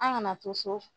An kana to so